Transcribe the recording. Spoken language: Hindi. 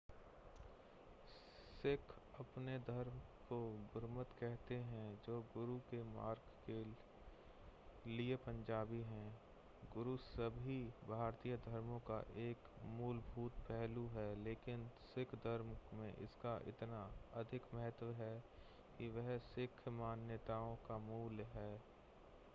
सिख अपने धर्म को गुरमत कहते हैं जो गुरु के मार्ग के लिए पंजाबी है गुरु सभी भारतीय धर्मों का एक मूलभूत पहलू है लेकिन सिख धर्म में इसका इतना अधिक महत्व है कि यह सिख मान्यताओं का मूल है